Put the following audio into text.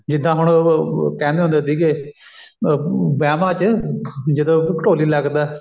ਜਿੱਦਾਂ ਹੁਣ ਕਹਿੰਦੇ ਹੁੰਦੇ ਸੀਗੇ ਅਹ ਵਿਆਹਵਾਂ ਚ ਜਦੋਂ ਕੋਈ ਢੋਲੀ ਲੱਗਦਾ